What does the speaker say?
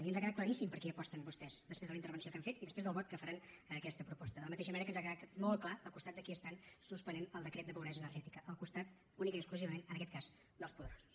i ens ha quedat claríssim per qui aposten vostès després de la intervenció que han fet i després del vot que faran a aquesta proposta de la mateixa manera que ens ha quedat molt clar al costat de qui estan suspenent el decret de pobresa energètica al costat únicament i exclusivament en aquest cas dels poderosos